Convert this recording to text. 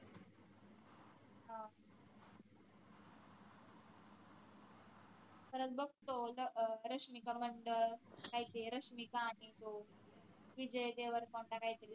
खरंच बघतो त अं रश्मिका मंदान्ना काय ते रश्मिका आणि तो विजय देवराकोंडा काहीतरी